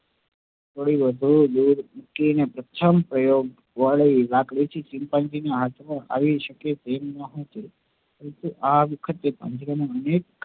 આ વખતે લૂમ થોડી વધુ દુર મૂકી પ્રથમ પ્રયોગ વાડી લાકડી chimpanzee ના હાથ માં આવી સકે તે રીતે મૂકી